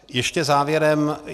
Ještě závěrem.